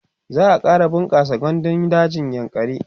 za'a ƙara bunƙasa gandun dajin yankari